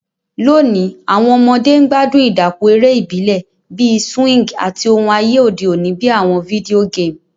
Lóni, àwon ọmọdé n gbádùn ìdàpọ̀ eré ìbílẹ̀ bi swing àti oun ayé òde ni bi àwon video game